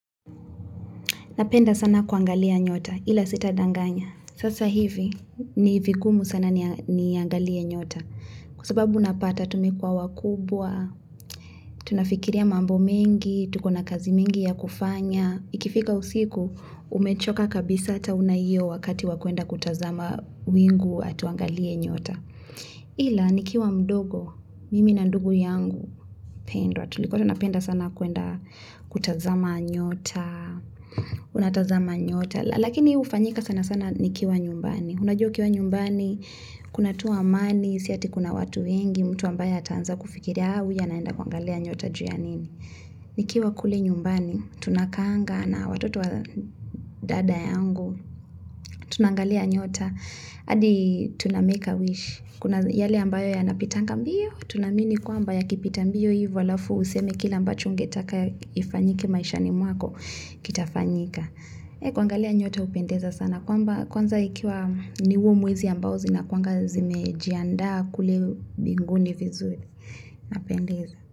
Napenda sana kuangalia nyota ila sitadanganya. Sasa hivi, ni vigumu sana niangalie nyota. Kwa sababu napata tumekuwa wakubwa, tunafikiria mambo mingi, tuko na kazi mingi ya kufanya. Ikifika usiku, umechoka kabisa ata hauna hiyo wakati wa kwenda kutazama wingu ati uangalie nyota. Hila, nikiwa mdogo, mimi na ndugu yangu mpendwa. Tulikuwa tunapenda sana kwenda kutazama nyota, unatazama nyota, lakini hufanyika sana sana nikiwa nyumbani. Unajua ukiwa nyumbani, kuna tuu amani, si ati kuna watu wengi, mtu ambaye ataanza kufikiria. haa huyu anaenda kuangalia nyota juu ya nini. Nikiwa kule nyumbani, tunakaanga na watoto wa dada yangu, tunaangalia nyota, hadi tunamake a wish. Kuna yale ambayo yanapitanga mbio, tunaamini kwamba yakipita mbio hivo halafu useme kile ambacho kile ungetaka ifanyike maishani mwako kitafanyika. Kuangalia nyota hupendeza sana kwanza ikiwa ni huo mwezi ambao zinakuwanga zimejiandaa kule mbinguni vizuri zinapendeza.